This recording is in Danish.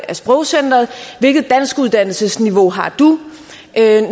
af sprogcenteret hvilket danskuddannelsesniveau har du